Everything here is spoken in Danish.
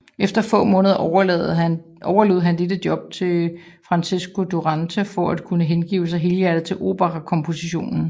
Efter få måneder overlod han dette job til Francesco Durante for at kunne hengive sig helhjertet til operakomposition